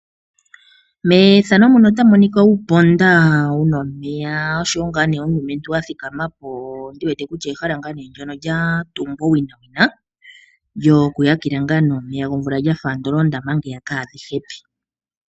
Uuponda wu na omeya noshowo omulumentu a thikama po. Ondi wete kutya ehala lyatungwa owinawina lyokuhakela omeya gomvula lya fa ando oondama ndhiya kaadhi shi evi.